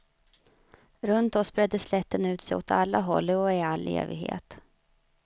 Runt oss bredde slätten ut sig åt alla håll och i all evighet.